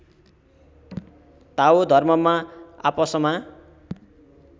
ताओ धर्ममा आपसमा